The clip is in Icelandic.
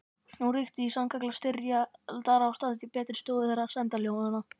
Nú ríkti sannkallað styrjaldarástand í betri stofu þeirra sæmdarhjóna